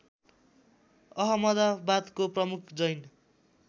अहमदाबादको प्रमुख जैन